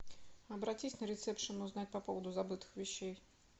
обратись на ресепшн узнай по поводу забытых вещей